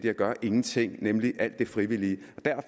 at gøre ingenting nemlig alt det frivillige